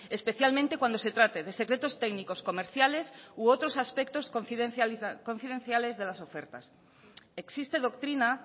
especialmente cuando se trate de secretos técnicos comerciales u otros aspectos confidenciales de las ofertas existe doctrina